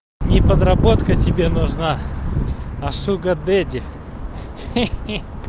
не подработка тебе нужна а шуга дэди ха-ха